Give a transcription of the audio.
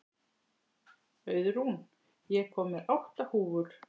Auðrún, ég kom með átta húfur!